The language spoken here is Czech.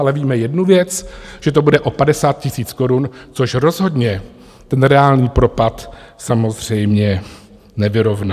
Ale víme jednu věc, že to bude o 50 000 korun, což rozhodně ten reálný propad samozřejmě nevyrovná.